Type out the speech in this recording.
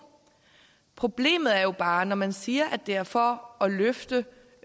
problemet er jo bare når man siger at det er for at løfte